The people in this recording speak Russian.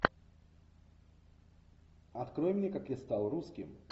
открой мне как я стал русским